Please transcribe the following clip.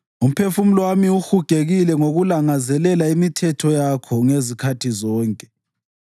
Umphefumulo wami uhugekile ngokulangazelela imithetho yakho ngezikhathi zonke.